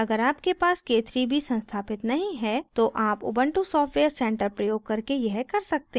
अगर आपके पास k3b संस्थापित नहीं है तो आप ubuntu सॉफ्टवेयर centre प्रयोग करके यह कर सकते हैं